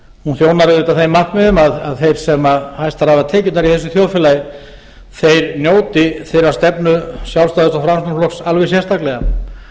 hún þjónar auðvitað þeim markmiðum að þeir sem hæstar hafa tekjurnar í þessu þjóðfélagi njóti þeirrar stefnu sjálfstæðis og framsóknarflokks alveg sérstaklega